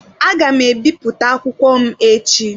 Aga m ebipụta akwụkwọ m echi.